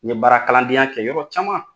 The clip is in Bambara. N ye baara kalandenya kɛ yɔrɔ caman